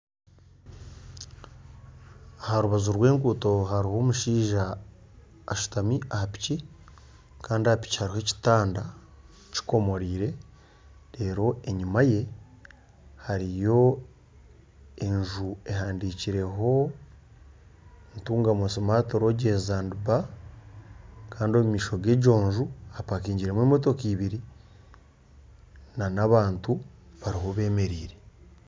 Aha rubaju rwa enguuto hariho omushaija ashutami aha piki Kandi aha piki hariho ekitanda kyikomoreire reru enyuma ye hariyo enju ehandikireho Ntungamo Smart Lodges and Bar Kandi omu maisho gegyo enju hapakingiremu emotoka ibiri nana abantu bariho bemereire.